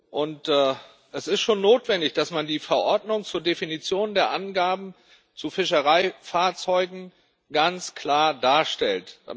Und es ist schon notwendig, dass man die Verordnung zur Definition der Angaben zu Fischereifahrzeugen ganz klar darstellt.